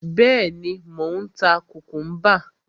Bẹ́ẹ̀ni, mò ń ta kùkúḿbà.